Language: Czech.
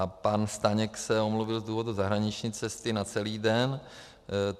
A pan Staněk se omluvil z důvodu zahraniční cesty na celý den.